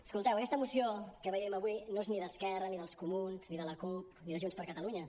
escolteu aquesta moció que veiem avui no és ni d’esquerra ni dels comuns ni de la cup ni de junts per catalunya